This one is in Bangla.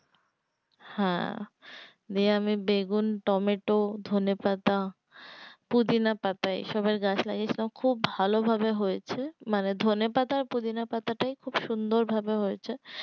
হ্যাঁ দিয়ে আমি বেগুন টমেটো ধনেপাতা পুদিনাপাতা এসবের গাছ লাগিয়েছিলাম খুব ভালোভাবে হয়েছে মানে ধনেপাতা পুদিনাপাতা টাই খুব সুন্দর ভাবে হয়েছে